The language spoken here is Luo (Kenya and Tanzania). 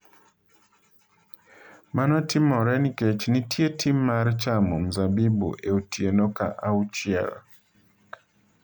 Mano timore nikech nitie tim mar chamo mzabibu e otieno ka auchiel.